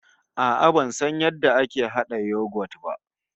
A'a ban san yadda ake hada yoghurt ba